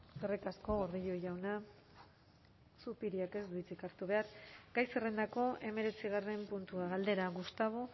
eskerrik asko gordillo jauna zupiriak ez du hitzik hartu behar gai zerrendako hemeretzigarren puntua galdera gustavo